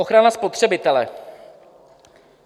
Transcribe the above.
Ochrana spotřebitele.